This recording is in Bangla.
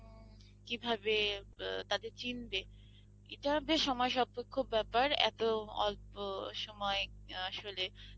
কিভাবে ব তাদের চিনবে এটা বেশ সময় সাপেক্ষ ব্যাপার এত অল্প সময় আসলে